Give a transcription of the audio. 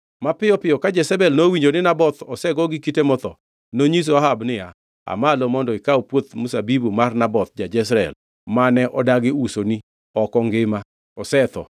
Mapiyo piyo ka Jezebel nowinjo ni Naboth osego gi kite motho, nonyiso Ahab niya, “Aa malo mondo ikaw puoth mzabibu mar Naboth ja-Jezreel, mane odagi usoni, ok ongima, osetho.”